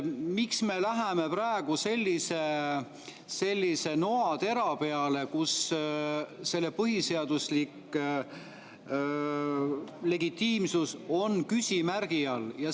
Miks me läheme praegu sellise noatera peale, kus põhiseaduslik legitiimsus on küsimärgi all?